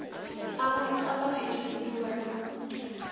abantu abaphethwe yintumbantonga